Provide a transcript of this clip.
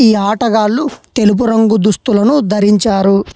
ఈ ఆటగాళ్లు తెలుగు రంగు దుస్తులను ధరించారు.